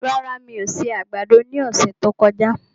Rárá, mi ò se àgbàdo ní ọ̀sẹ̀ tí ó kọjá